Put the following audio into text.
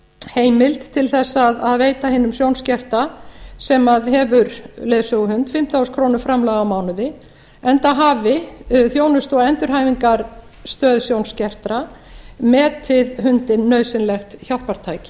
heimild til þess að veita hinum sjónskerta sem hefur leiðsöguhund fimmtán þúsund króna framlag á mánuði enda hafi þjónustu og endurhæfingarstöð sjónskertra metið hundinn nauðsynlegt hjálpartæki